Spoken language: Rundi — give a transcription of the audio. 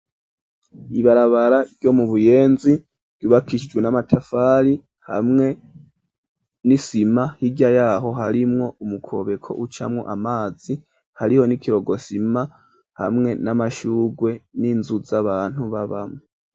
Ibarabara, ryo mu Buyenzi, ryubakishijwe n'amatafari, hamwe n'isima; hirya y'aho, harimwo umukobeko, ucamwo amazi, hariho n'ikirokosima, hamwe n'amashurwe, n'inzu z'abantu, babamwo.